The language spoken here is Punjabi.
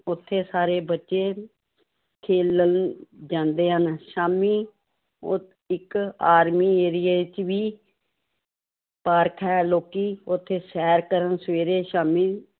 ਉੱਥੇ ਸਾਰੇ ਬੱਚੇ ਖੇਲਣ ਜਾਂਦੇ ਹਨ, ਸ਼ਾਮੀ ਉਹ ਇੱਕ army ਏਰੀਏ ਵਿੱਚ ਵੀ ਪਾਰਕ ਹੈ ਲੋਕੀ ਉੱਥੇ ਸ਼ੈਰ ਕਰਨ ਸਵੇਰੇ ਸ਼ਾਮੀ